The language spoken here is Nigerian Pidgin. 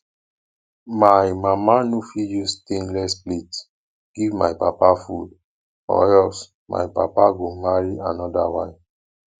my mama no fit use stainless plate give my papa food or else my papa go marry another wife